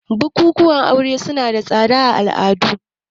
Bukukuwan aure suna da tsada a wasu al'adun